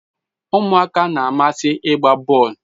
Umuaka na-amasi igba bol